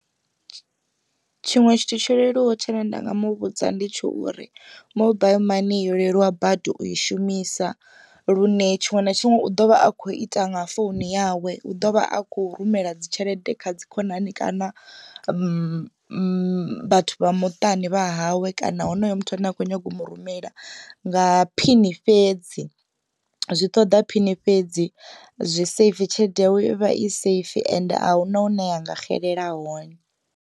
Tshiṅwe tshithu tsho leluwaho tshine nda nga muvhudza ndi tsho uri mobaiḽi mani yo leluwa badi u i shumisa lune tshiṅwe na tshiṅwe u ḓovha a kho ita nga founu yawe. U ḓovha a kho rumela dzi tshelede kha dzi khonani kana vhathu vha muṱani wa hawe kana honoyo muthu ane a kho nyago u mu rumela nga phini fhedzi zwi ṱoḓa phini fhedzi zwi safe tshelede yawe ivha i safe ende ahuna hune ya nga xelela hone.